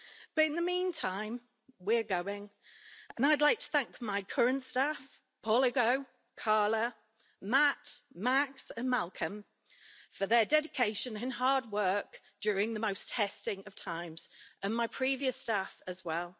But, in the meantime, we're going and I'd like to thank my current staff, Paul Ugo, Carla, Matt, Max and Malcolm, for their dedication and hard work during the most testing of times, and my previous staff as well.